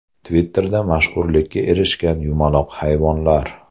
Twitter’da mashhurlikka erishgan yumaloq hayvonlar.